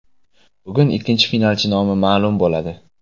Bugun ikkinchi finalchi nomi ma’lum bo‘ladi.